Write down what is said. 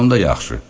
Onda yaxşı.